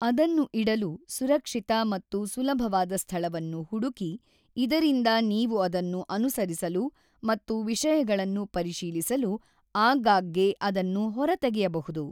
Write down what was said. ಅದನ್ನು ಇಡಲು ಸುರಕ್ಷಿತ ಮತ್ತು ಸುಲಭವಾದ ಸ್ಥಳವನ್ನು ಹುಡುಕಿ ಇದರಿಂದ ನೀವು ಅದನ್ನು ಅನುಸರಿಸಲು ಮತ್ತು ವಿಷಯಗಳನ್ನು ಪರಿಶೀಲಿಸಲು ಆಗಾಗ್ಗೆ ಅದನ್ನು ಹೊರತೆಗೆಯಬಹುದು.